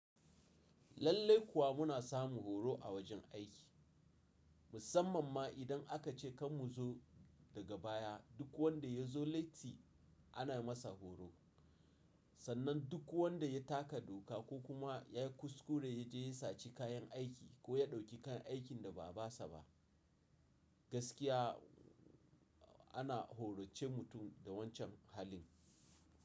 Lallai kuwa muna samun horo a wajen aiki musamman ma idan aka ce kan mu zo daga baya duk wanda ya zo letti ana masa horo. Sannan duk wanda ya taka doka ko kuma ya yi kuskure ya je ya saci kayan aiki ko ya ɗauki kayan aikin da ba nasa ba gaskiya ana horace mutum da wancan halin.